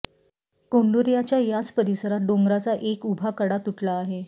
कोंडुर्याच्या याच परिसरात डोंगराचा एक उभा कडा तुटला आहे